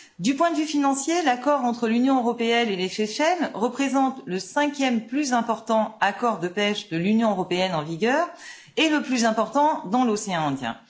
Du point de vue financier, l'accord entre l'Union européenne et les Seychelles représente le cinquième plus important accord de pêche de l'Union européenne en vigueur et le plus important dans l'océan Indien.